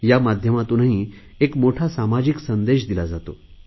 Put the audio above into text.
त्या माध्यमातूनही एक मोठा सामाजिक संदेश दिला जातो